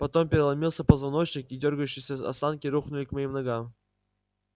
потом переломился позвоночник и дёргающиеся останки рухнули к моим ногам